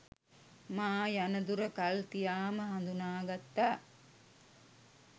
මා යන දුර කල්තියාම හඳුනාගත්තා